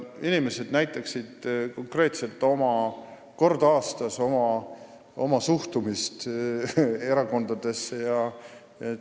Inimesed näitaksid konkreetselt kord aastas oma suhtumist erakondadesse.